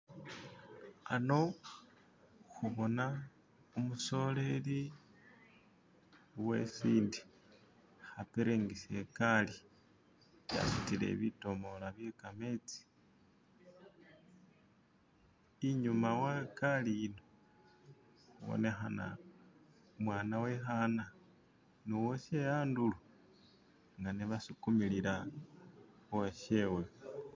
khano khubona umusoleli wesinde apiringisa ikaali asutile bitomola bye khametsi inyuma we kaali yino ibonekhana umwana we khana nuwoshe handulo nga ne basukumilila uwoshewe